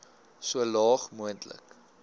so laag moontlik